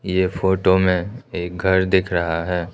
ये फोटो में एक घर दिख रहा है।